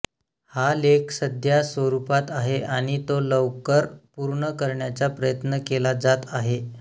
हा लेख सध्या स्वरूपात आहे आणि तो लवकर पूर्ण करण्याचा प्रयत्न केला जात आहे